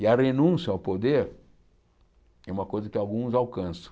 E a renúncia ao poder é uma coisa que alguns alcançam.